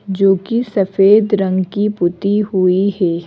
जो कि सफेद रंग की पुती हुई है।